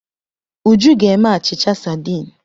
Uju ga-eme achịcha sadiin.